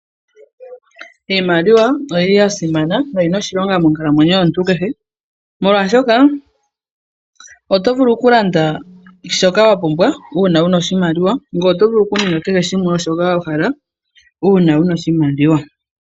Iimaliwa oyi li yasimana na oyina oshilongo monkalamwneyo yomuntu kehe molwashoka otovulu okulanda shoka wapumbwa una wuna oshimaliwa ngweye oto vulu okuninga kehe shoka wahala una wuna oshimaliwa.